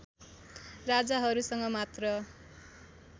राजाहरूसँग मात्र